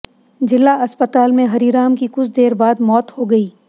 जिला अस्पताल में हरीराम की कुछ देर बाद मौत हो गई